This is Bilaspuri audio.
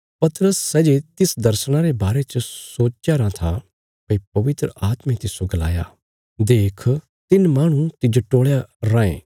पतरस सै जे तिस दर्शणा रे बारे च सोचया राँ था भई पवित्र आत्मे तिस्सो गलाया देख तिन्न माहणु तिज्जो टोलया रायें